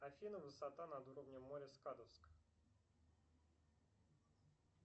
афина высота над уровнем моря скадовск